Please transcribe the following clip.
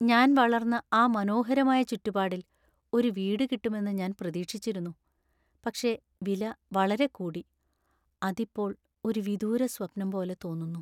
ഞാൻ വളർന്ന ആ മനോഹരമായ ചുറ്റുപാടിൽ ഒരു വീട് കിട്ടുമെന്ന് ഞാൻ പ്രതീക്ഷിച്ചിരുന്നു, പക്ഷേ വില വളരെ കൂടി , അത് ഇപ്പോൾ ഒരു വിദൂര സ്വപ്നം പോലെ തോന്നുന്നു.